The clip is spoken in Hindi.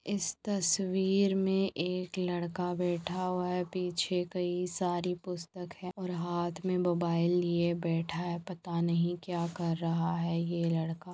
इस तस्वीर मैं एक लड़का बेठा हुआ है। पीछे कई सारी पुस्तक है और हाथ मैं मोबाइल लिए बेठा है। पता नहीं क्या कर रहा है ये लड़का--